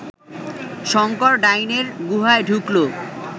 শঙ্কর ডাইনের গুহায় ঢুকল